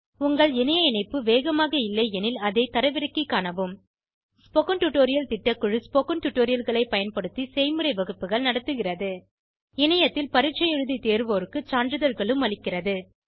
உங்கள் இணைய இணைப்பு வேகமாக இல்லையெனில் அதை தரவிறக்கிக் காணவும் ஸ்போகன் டுடோரியல் திட்டக்குழு ஸ்போகன் டுடோரியல்களைப் பயன்படுத்தி செய்முறை வகுப்புகள் நடத்துகிறது இணையத்தில் பரீட்சை எழுதி தேர்வோருக்கு சான்றிதழ்களும் அளிக்கிறது